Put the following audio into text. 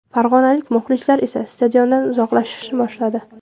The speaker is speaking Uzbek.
Farg‘onalik muxlislar esa stadiondan uzoqlashishni boshladi.